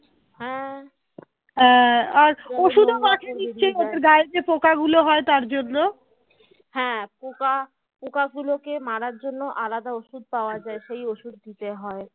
হ্যাঁ পোকা পোকা গুলোকে মারার জন্য আলাদা ওষুধ পাওয়া যায় সেই ওষুধ দিতে হয়